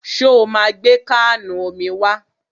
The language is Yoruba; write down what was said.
Ṣo ma gbé káànù omi wá?